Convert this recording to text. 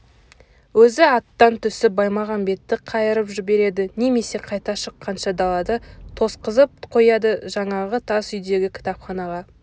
өзі аттан түсіп баймағамбетті қайырып жібереді немесе қайта шыққанша далада тосқызып қояды жаңағы тас үйдегі кітапханаға